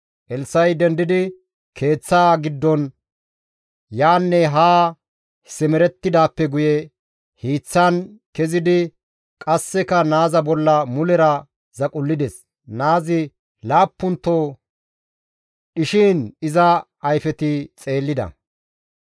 Elssa7i dendidi keeththaa giddon yaanne haa simerettidaappe guye hiiththan kezidi qasseka naaza bolla mulera zaqullides; naazi laappunto dhishin iza ayfeti xeellida.